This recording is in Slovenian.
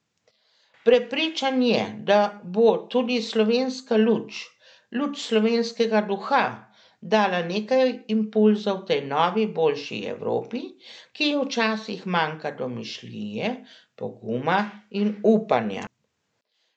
Prepričan je, da bo tudi slovenska luč, luč slovenskega duha, dala nekaj impulzov tej novi boljši Evropi, ki ji včasih manjka domišljije, poguma in upanja.